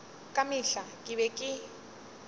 ka mehla ke be ke